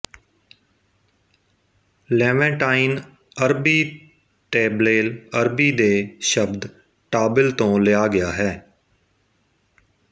Levantine ਅਰਬੀ ਟੈਬਲੇਲ ਅਰਬੀ ਦੇ ਸ਼ਬਦ ਟਾਬਿਲ ਤੋਂ ਲਿਆ ਗਿਆ ਹੈ